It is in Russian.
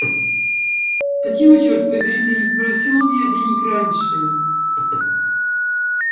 почему чёрт побери ты не попросил у меня денег раньше